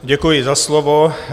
Děkuji za slovo.